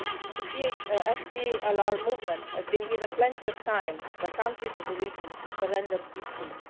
The FDLR movement has been given plenty of time by countries in the region to surrender peacefully.